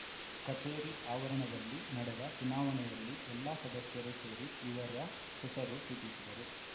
ಕಚೇರಿ ಆವರಣದಲ್ಲಿ ನಡೆದ ಚುನಾವಣೆಯಲ್ಲಿ ಎಲ್ಲ ಸದಸ್ಯರು ಸೇರಿ ಇವರ ಹೆಸರು ಸೂಚಿಸಿದರು